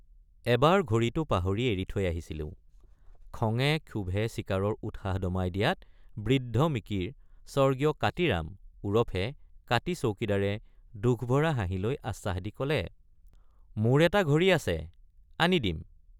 এবাৰ ঘড়ীটো পাহৰি এৰি থৈ আহিছিলোঁ খঙে ক্ষোভে চিকাৰৰ উৎসাহ দমাই দিয়াত বৃদ্ধ মিকিৰ স্বৰ্গীয় কাতিৰাম ওৰফে কাতি চৌকিদাৰে দুখভৰা হাঁহি লৈ আশ্বাস দি কলে—মোৰ এটা ঘড়ী আছে আনি দিম।